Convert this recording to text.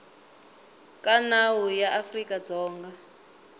ka nawu ya afrika dzonga